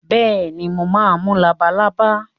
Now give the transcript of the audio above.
Bẹ́ẹ̀ni, mo máa mú labalábá.